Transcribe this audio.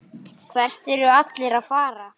Hvert eru allir að fara?